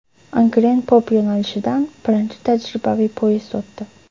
Angren-Pop yo‘nalishidan birinchi tajribaviy poyezd o‘tdi .